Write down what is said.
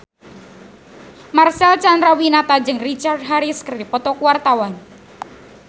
Marcel Chandrawinata jeung Richard Harris keur dipoto ku wartawan